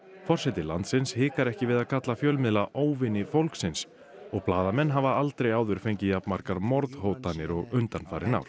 forseti landsins hikar ekki við að kalla fjölmiðla óvini fólksins og blaðamenn hafa aldrei áður fengið jafn margar morðhótanir og undanfarin ár